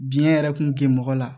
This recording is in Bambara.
Biɲɛ yɛrɛ kun tɛ mɔgɔ la